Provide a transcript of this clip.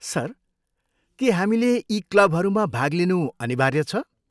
Sir, के हामीले यी क्लबहरूमा भाग लिनु अनिवार्य छ?